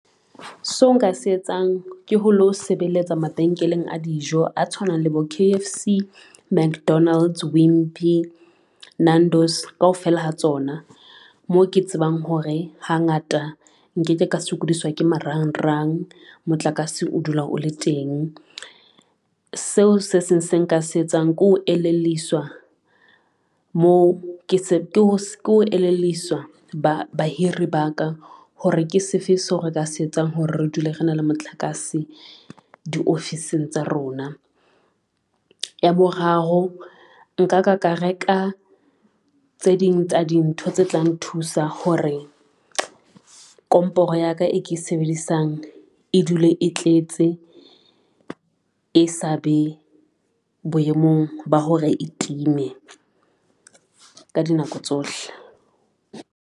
So nka se etsang ke ho lo sebeletsa mabenkeleng a dijo a tshwanang le bo K_F_C, Mcdonalds, Wimpy, Nando's kaofela ha tsona, mo ke tsebang hore hangata nkeke ka sokodiswa ke marangrang motlakase o dula o le teng. Seo se seng se nka se etsang ko elleliswa bahiri ba ka hore ke se fe so re ka se etsang hore re dule re na le motlakase diofising tsa rona. Ya boraro nka ka ka reka tse ding tsa dintho tse tlang thusa hore komporo ya ka, e ke sebedisang e dule e tletse, e sa be boemong ba hore e timme ka dinako tsohle.